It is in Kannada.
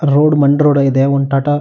ರೋಡ್ ಮಣ್ಣ್ ರೋಡ್ ಇದೆ ಒಂದ್ ಟಾಟಾ--